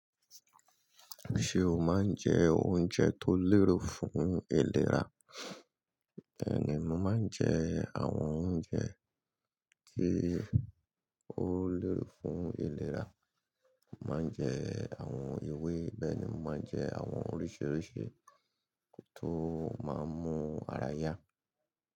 Ṣé o máa ń jẹ oúnjẹ tó lérò fún ìlera? Bẹ́ẹ̀ni, mo máa ń jẹ àwọn oúnjẹ tí ó lérò fún ìlera. Mo máa ń jẹ àwọn ewé. Bẹ́ẹ̀ ni mo máa ń jẹ àwọn oríṣiríṣi tó máa ń mú ara yá.